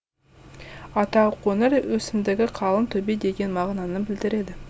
атау қоңыр өсімдігі қалың төбе деген мағынаны білдіреді